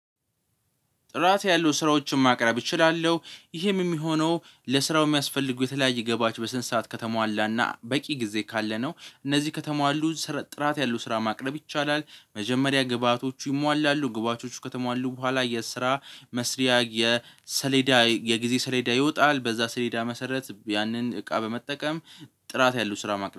ጥራት ያለው ስራዎችን ማቅረብ እችላለሁ ይሄም የሚሆነው ለስራው የሚያስፈልጉ የተለያየ ግብዓቶች በስነ ስርዓት ከተሟላና በቂ ጊዜ ካለ ነው እነዚህ ከተሟሉ ጥራት ያለው ስራ ማቅረብ ይቻላል። መጀመሪያ ግብአቶቹ ይሟላሉ ግብአቶቹ ከተሟሉ በኋላ የስራ መስሪያ የሰሌዳ የጊዜ ሰሌዳ ይወጣል በዛ ስሌዳ መሰረት ያንን እቃ በመጠቀም ጥራት ያለው ስራ ማቅረብ